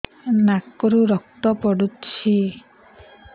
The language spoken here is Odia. ନାକରୁ ରକ୍ତ ପଡୁଛି